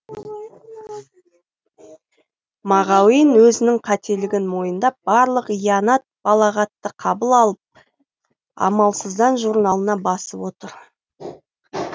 мағауин өзінің қателігін мойындап барлық ианат балағатты қабыл алып амалсыздан журналына басып отыр